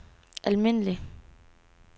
almindelig